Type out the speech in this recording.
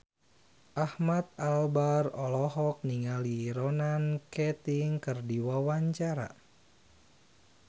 Ahmad Albar olohok ningali Ronan Keating keur diwawancara